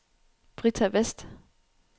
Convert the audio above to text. Britta Westh